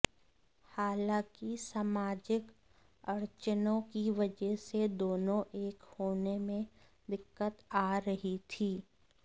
हालांकि सामाजिक अड़चनों की वजह से दोनों एक होने में दिक्कत आ रही थी